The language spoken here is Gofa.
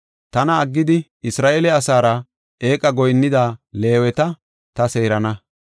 “Tana aggidi, Isra7eele asaara eeqa goyinnida Leeweta ta seerana.